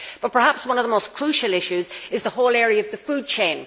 But perhaps one of the most crucial issues is the whole area of the food chain.